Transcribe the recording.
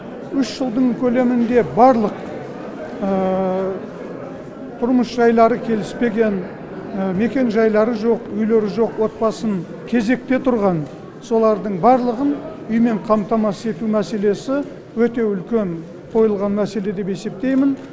үш жылдың көлемінде барлық тұрмыс жайлары келіспеген мекен жайлары жоқ үйлері жоқ отбасын кезекте тұрған солардың барлығын үймен қамтамасыз ету мәселесі өте үлкен қойылған мәселе деп есептеймін